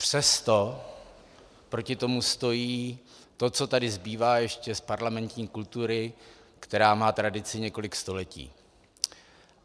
Přesto proti tomu stojí to, co tady zbývá ještě z parlamentní kultury, která má tradici několik století.